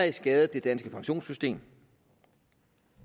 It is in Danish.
ikke skadet det danske pensionssystem